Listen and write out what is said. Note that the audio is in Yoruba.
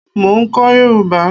Mo ń kọ́ yòrùbá.